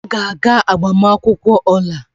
M ga-aga agbamakwụkwọ Ola.